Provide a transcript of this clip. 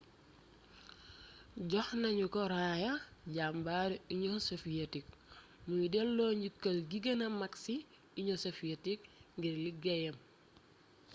jox nañu ko raaya jàmbaaru union soviétique muy dello njukkal gi gëna mag ci union soviétique ngir liggéeyam